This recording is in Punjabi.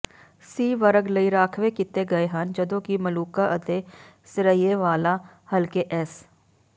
ਸੀ ਵਰਗ ਲਈ ਰਾਖਵੇ ਕੀਤੇ ਗਏ ਹਨ ਜਦੋਂ ਕਿ ਮਲੂਕਾ ਅਤੇ ਸਿਰੀਏਵਾਲਾ ਹਲਕੇ ਐਸ